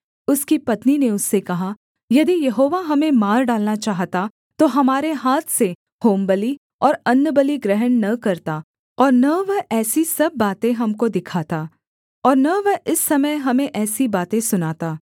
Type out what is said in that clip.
उसकी पत्नी ने उससे कहा यदि यहोवा हमें मार डालना चाहता तो हमारे हाथ से होमबलि और अन्नबलि ग्रहण न करता और न वह ऐसी सब बातें हमको दिखाता और न वह इस समय हमें ऐसी बातें सुनाता